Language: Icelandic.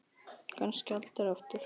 Kannski aldrei aftur.